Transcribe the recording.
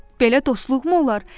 "Belə dostluqmı olar?